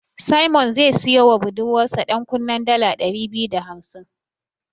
Simon zai siyowa budurwarsa ɗankunnen dala ɗari biyu da hamsin.